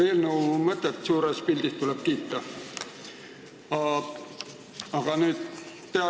Eelnõu mõtet tuleb suures pildis kiita, aga küsin siiski.